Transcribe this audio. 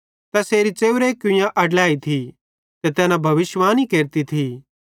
तैसेरी च़ेव्रे कुवैरी कुइयां थी ते तैना भविष्यिवाणी केरती थी